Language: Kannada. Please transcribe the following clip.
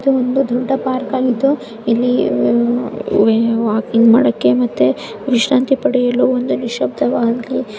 ಇದು ಒಂದು ದೊಡ್ಡ ಪಾರ್ಕ್ ಆಗಿದ್ದು ಇಲ್ಲಿ ವಾಕಿಂಗ್ ಮಾಡೋಕೆ ಮತ್ತೆ ವಿಶ್ರಾಂತಿ ಪಡೆಯಲು ನಿಶಬ್ದವಾದಂತಹ--